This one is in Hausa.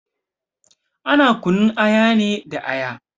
Ana kunun aya ne da aya.